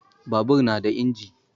Babur na da inji.